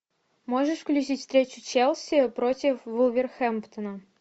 можешь включить встречу челси против вулверхэмптона